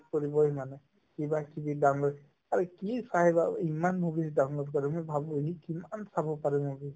কৰিবয়ে মানে কিবাকিবি download আৰু কি চাই বা ইমান movies download কৰে মই ভাবো সি কিমান চাব পাৰে movies